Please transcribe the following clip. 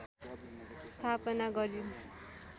स्थापना गरिन्